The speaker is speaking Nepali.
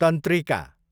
तन्त्रिका